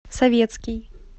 советский